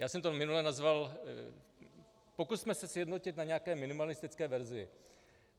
Já jsem to minule nazval - pokusme se sjednotit na nějaké minimalistické verzi.